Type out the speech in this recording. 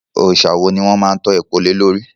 Òòsà wo ni wọ́n má ń tọ́po lé lórí?